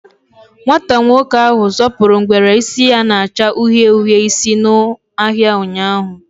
Nwata nwoke ahụ zọpụrụ ngwere isi ya na-acha uhie uhie isi n'ahịa ụnyaahụ.